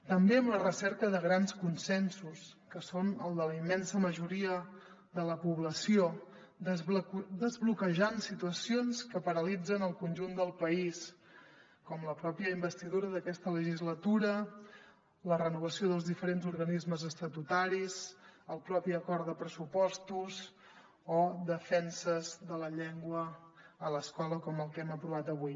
també en la recerca de grans consensos que són el de la immensa majoria de la població desbloquejant situacions que paralitzen el conjunt del país com la pròpia investidura d’aquesta legislatura la renovació dels diferents organismes estatutaris el propi acord de pressupostos o de defensa de la llengua a l’escola com el que hem aprovat avui